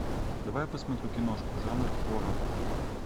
давай я посмотрю киношку жанр хоррор